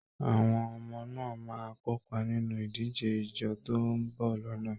Àwọn ọmọ náà máa kópa nínú ìdíje ijó tó ń bọ̀ lọ́nà